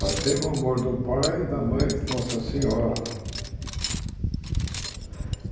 Mas tem o amor do pai e da mãe Nossa Senhora.